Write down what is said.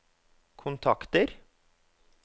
kontakter